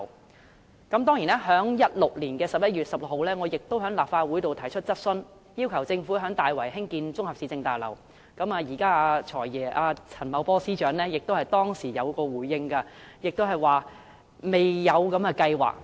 我曾在2016年11月16日的立法會會議上提出質詢，要求政府在大圍興建綜合市政大樓，現任"財爺"陳茂波司長當時亦有作出回應，他表示未有這計劃。